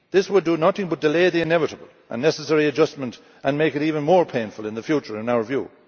This would do nothing but delay the inevitable a necessary adjustment and make it even more painful in the future, in our view.